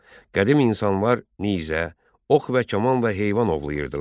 Qədim insanlar nizə, ox və kaman və heyvan ovlayırdılar.